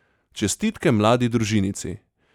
Čestitke mladi družinici!